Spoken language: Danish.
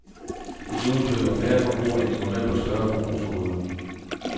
Desuden køber færre forbrugere end i november større forbrugsgoder.